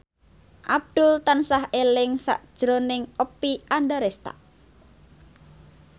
Abdul tansah eling sakjroning Oppie Andaresta